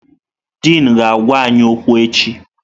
Dịn ga-agwa anyị okwu echi.